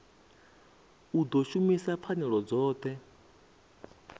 u ḓo shumisa pfanelo dzoṱhe